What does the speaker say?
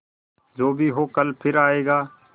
जो भी हो कल फिर आएगा